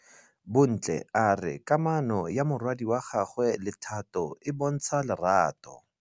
Bontle a re kamanô ya morwadi wa gagwe le Thato e bontsha lerato.